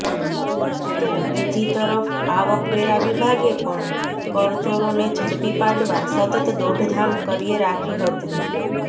તો બીજી તરફ આવકવેરા વિભાગે પણ કરચોરોને ઝડપી પાડવા સતત દોડધામ કર્યે રાખી હતી